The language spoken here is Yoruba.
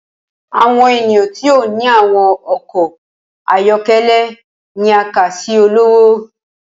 Awọn eniyan ti o ni awọn ọkọ ayọkẹlẹ ni a kà si ọlọwọ.